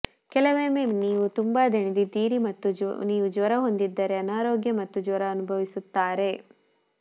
ಕೆಲವೊಮ್ಮೆ ನೀವು ತುಂಬಾ ದಣಿದಿದ್ದೀರಿ ಮತ್ತು ನೀವು ಜ್ವರ ಹೊಂದಿದ್ದರೆ ಅನಾರೋಗ್ಯ ಮತ್ತು ಜ್ವರ ಅನುಭವಿಸುತ್ತಾರೆ